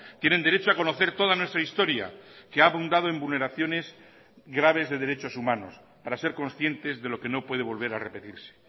tienen derecho a conocer toda nuestra historia que ha abundado en vulneraciones graves de derechos humanos para ser conscientes de lo que no puede volver a repetirse